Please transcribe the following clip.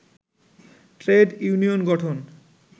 trade union গঠন